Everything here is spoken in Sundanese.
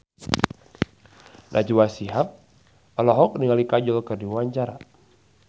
Najwa Shihab olohok ningali Kajol keur diwawancara